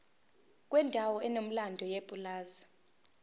kwendawo enomlando yepulazi